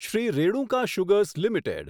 Shri Renuka sugars limited